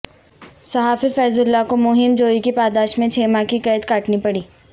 صحافی فیض اللہ کو مہم جوئی کی پاداش میں چھ ماہ کی قید کاٹنا پڑی